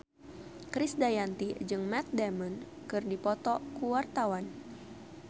Krisdayanti jeung Matt Damon keur dipoto ku wartawan